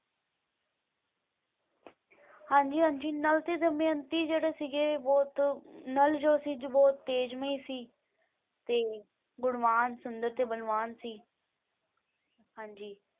ਹਾਂਜੀ ਹਾਂਜੀ ਨਲ ਤੇ ਦਮਿਅੰਤੀ ਜਿਹੜੇ ਸੀਗੇ ਬਹੁਤ ਨਲ ਜੋ ਸੀ ਜੋ ਬਹੁਤ ਤੇਜ ਮਈ ਸੀ ਤੇ ਗੁਣਵਾਨ ਸੁੰਦਰ ਤੇ ਬਲਵਾਨ ਸੀ ਹਾਂਜੀ।